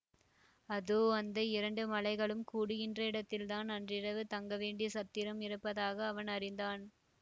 அதோ அந்த இரண்டு மலைகளும் கூடுகின்ற இடத்தில் தான் அன்றிரவு தங்க வேண்டிய சத்திரம் இருப்பதாக அவன் அறிந்தான்